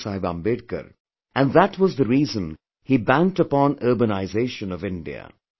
Baba Sahib Ambedkar and that was the reason he banked upon urbanization of India